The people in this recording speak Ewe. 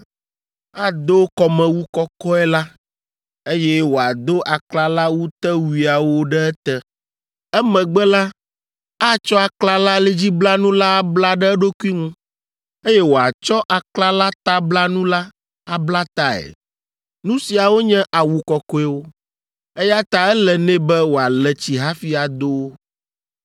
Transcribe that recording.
Ado kɔmewu kɔkɔe la, eye wòado aklalawutewuiawo ɖe ete. Emegbe la, atsɔ aklalalidziblanu la abla ɖe eɖokui ŋu, eye wòatsɔ aklalatablanu la abla tae. Nu siawo nye awu kɔkɔewo, eya ta ele nɛ be wòale tsi hafi ado wo.